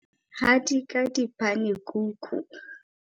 Hadika dipanekuku.